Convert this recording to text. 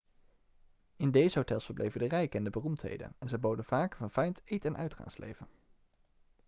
in deze hotels verbleven de rijken en de beroemdheden en ze boden vaak een verfijnd eet en uitgaansleven